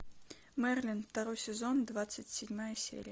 мерлин второй сезон двадцать седьмая серия